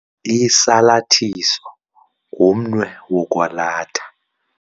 Usalathiso ngumnwe wokwalatha.